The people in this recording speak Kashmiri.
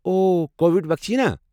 اوہ ، کووڈ ویکسیٖن ہا؟